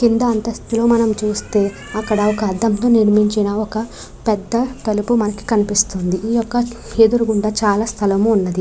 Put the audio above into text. కింద అంతస్తులు మనం చూస్తే అక్కడ ఒక అద్దంతో నిర్మించిన ఒక పెద్ద తలుపు మనకు కనిపిస్తుంది ఈ యొక్క ఎదురుగుండా చాలా స్థలము ఉన్నది.